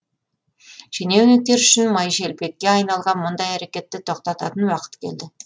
шенеуніктер үшін майшелпекке айналған мұндай әрекетті тоқтатын уақыт келді